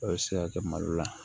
A bɛ se ka kɛ malo la